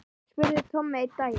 spurði Tommi einn daginn.